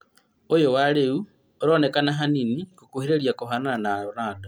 Ũyũ wa rĩu ũronekana hanini gũkũhĩrĩria kũhana na Ronaldo